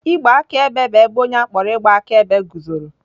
Igbe akaebe bụ ebe onye a kpọrọ ịgba akaebe guzoro.